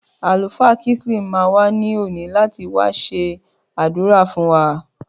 Àlùfáà Kinsley ma wa ní òní láti wá ṣẹ s'adura fún wa